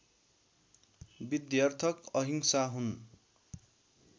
विध्यर्थक अहिंसा हुन्